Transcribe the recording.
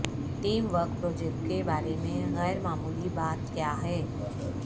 team work project کے بارے میں غیر معمولی بات کیا ہے